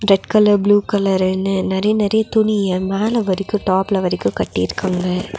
Red colour blue கலர்ருன்னு நெறைய நெறைய துணிய மேலவரிக்கு டாப்ல வரிக்கு கட்டிருக்காங்க.